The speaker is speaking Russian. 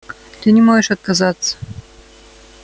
ты не можешь отказаться